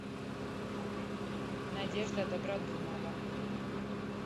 надежда добродумова